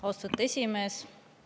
Austatud esimees!